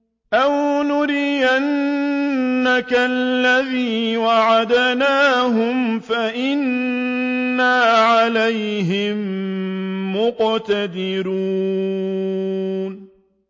أَوْ نُرِيَنَّكَ الَّذِي وَعَدْنَاهُمْ فَإِنَّا عَلَيْهِم مُّقْتَدِرُونَ